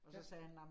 Ja